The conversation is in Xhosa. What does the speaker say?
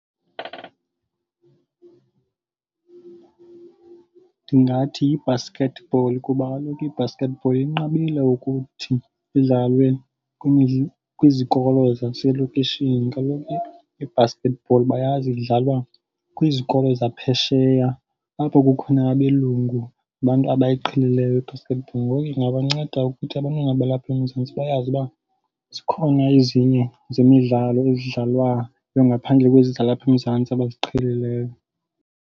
Ndingathi yi-basketball kuba kaloku i-basketball inqabile ukuthi idlalwe kwizikolo zaselokishini. Kaloku i-basketball bayazi idlalwa kwizikolo zaphesheya apho kukhona nabelungu abantu abayiqhelileyo i-basketball. Ngoku ingabanceda ukuthi abantwana balapha eMzantsi bayazi uba zikhona ezinye zemidlalo ezidlalwa ngaphandle kwezi zalapha eMzantsi abaziqhelileyo.